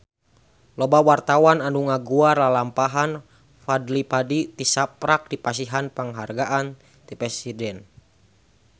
Loba wartawan anu ngaguar lalampahan Fadly Padi tisaprak dipasihan panghargaan ti Presiden